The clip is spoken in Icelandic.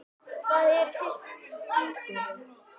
Hvað eru sykrur?